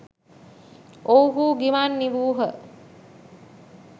ඔවුහු ගිමන් නිවූහ